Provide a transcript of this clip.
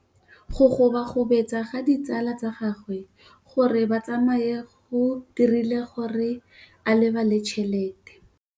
Go gobagobetsa ga ditsala tsa gagwe, gore ba tsamaye go dirile gore a lebale tšhelete.